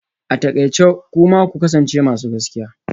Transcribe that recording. A takaice kuma ku kasance masu gaskiya